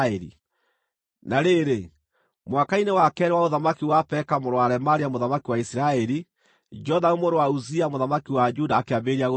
Na rĩrĩ, mwaka-inĩ wa keerĩ wa ũthamaki wa Peka mũrũ wa Remalia mũthamaki wa Isiraeli, Jothamu mũrũ wa Uzia mũthamaki wa Juda akĩambĩrĩria gũthamaka.